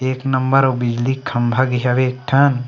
एक नंबर अऊ बिजली क खम्भा गे हवय एक ठन --